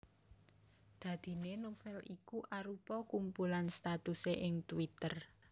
Dadiné novel iku arupa kumpulan statusé ing twitter